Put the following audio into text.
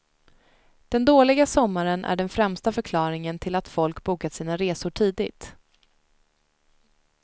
Den dåliga sommaren är den främsta förklaringen till att folk bokat sina resor tidigt.